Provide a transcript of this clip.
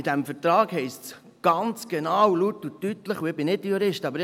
In diesem Vertrag steht ganz genau, laut und deutlich: